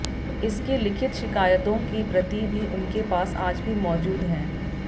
इसकी लिखित शिकायतों की प्रति भी उनके पास आज भी मौजूद हैं